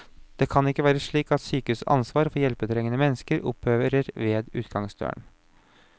Det kan ikke være slik at sykehusets ansvar for hjelpetrengende mennesker opphører ved utgangsdøren.